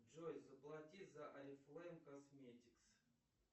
джой заплати за орифлейм косметикс